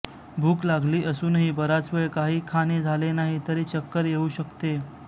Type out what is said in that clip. भूक लागली असूनही बराच वेळ काही खाणे झाले नाही तरी चक्कर येऊ शकते